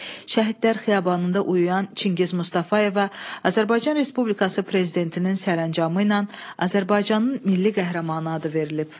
Şəhidlər xiyabanında uyuyan Çingiz Mustafayevə Azərbaycan Respublikası Prezidentinin sərəncamı ilə Azərbaycanın milli qəhrəmanı adı verilib.